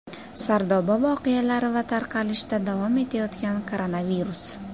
Sardoba voqealari va tarqalishda davom etayotgan koronavirus.